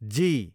जी